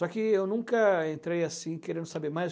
Só que eu nunca entrei assim querendo saber mais.